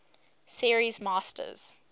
series masters